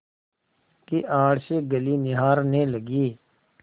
की आड़ से गली निहारने लगी